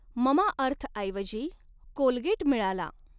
ममाअर्थऐवजी Colgate मिळाला.